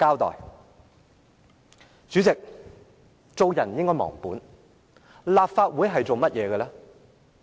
代理主席，做人不應忘本，立法會的職責為何？